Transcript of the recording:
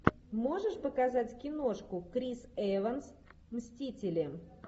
можешь показать киношку крис эванс мстители